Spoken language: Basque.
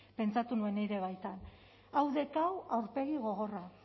pentsatu nuen nire baitan hau dek hau aurpegi gogorra